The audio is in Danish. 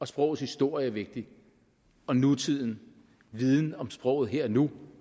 sprogets historie er vigtig og nutiden viden om sproget her og nu